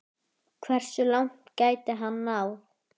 Hversu langt gæti hann náð?